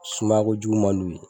Sumaya kojugu man di u ye